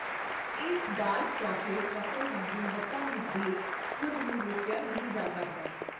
ਇਸ dark chocolate truffle ਦੀ ਗੁਣਵੱਤਾ ਨੂੰ ਦੇਖ ਖੁਦ ਨੂੰ ਰੋਕਿਆ ਨਹੀਂ ਜਾ ਸਕਦਾ।